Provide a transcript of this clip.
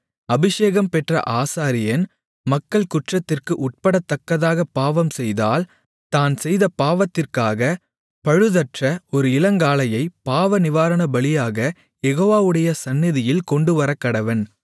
அபிஷேகம் பெற்ற ஆசாரியன் மக்கள் குற்றத்திற்கு உட்படத்தக்கதாகப் பாவம் செய்தால் தான் செய்த பாவத்திற்காக பழுதற்ற ஒரு இளங்காளையை பாவநிவாரணபலியாகக் யெகோவாவுடைய சந்நிதியில் கொண்டுவரக்கடவன்